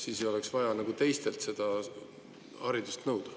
Siis ei oleks vaja teistelt seda haridust nõuda.